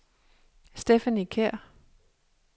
Stephanie Kjær